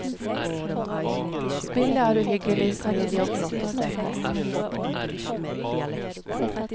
Spillet er uhyggelig smidig og flott å se på.